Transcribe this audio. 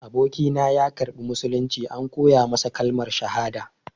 Abokina ya karɓi musulunci, an koya masa kalmar shahada.